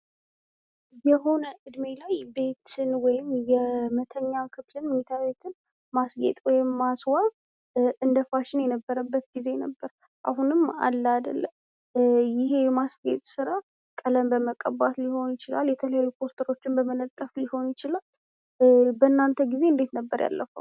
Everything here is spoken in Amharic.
የሆነ እድሜ ላይ ቤት ወይም የመተኛ ክፍልን መኝታ ቤትን ማስጊጥ ወይም ማስዋብ እንደ ፋሽን የነበረበት ጊዜ ነበር። አሁንም አለ ይሄ የማስጊጥ ስራ ቀለም በመቀባት ሊሆን ይችላል የተለያዩ ሪፖርተሮችን በመለጠፍ ሊሆን ይችላል። በናንተ ጊዜ እንዴት ነበር ያለፈው?